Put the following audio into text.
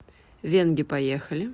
венге поехали